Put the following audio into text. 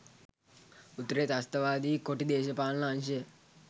උතුරේ ත්‍රස්තවාදී කොටි දේශපාලන අංශය